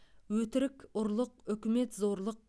өтірік ұрлық үкімет зорлық